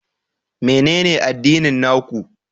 Menene addinin na ku?